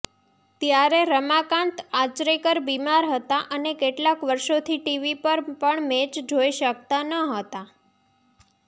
ત્યારે રમાકાંત આચરેકર બીમાર હતા અને કેટલાંક વર્ષોથી ટીવી પર પણ મૅચ જોઈ શકતા નહોતા